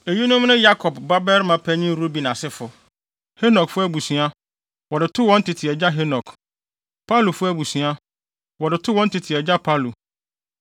Eyinom ne Yakob babarima panyin Ruben asefo: Hanokfo abusua, wɔde too wɔn tete agya Hanok; Palufo abusua, wɔde too a wɔn tete agya Palu;